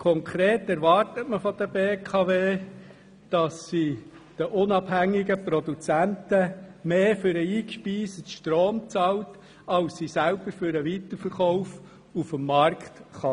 Konkret erwartet man von der BKW, dass sie den unabhängigen Produzenten mehr für den eingespeisten Strom bezahlt, als sie selber für den Weiterverkauf auf dem Markt erhält.